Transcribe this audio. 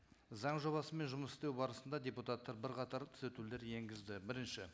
заң жобасымен жұмыс істеу барысында депутаттар бірқатар түзетулер енгізді бірінші